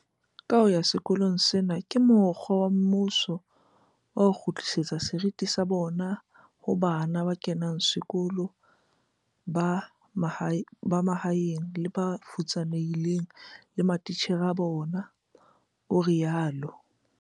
"Kaho ya sekolo sena ke mokgwa wa mmuso wa ho kgutlisetsa seriti ho bana ba kenang sekolo ba mahaeng le ba futsanehileng le matitjhere a bona," o rialo.